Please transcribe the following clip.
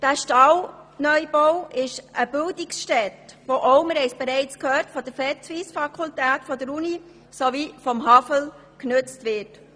Dieser Stall ist eine Bildungsstätte, die auch von der Vetsuisse-Fakultät der Uni sowie von der HAFL genutzt wird.